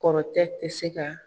Kɔrɔtɛ tɛ se ka